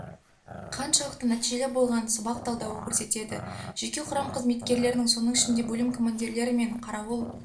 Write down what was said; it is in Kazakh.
қаншалықты нәтижелі болғанын сабақ талдауы көрсетеді жеке құрам қызметкерлерінің соның ішінде бөлім командирлері мен қарауыл